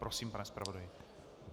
Prosím pane zpravodaji.